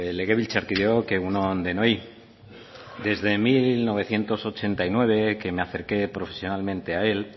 legebiltzarkideok egun on denoi desde mil novecientos ochenta y nueve que me acerqué profesionalmente a él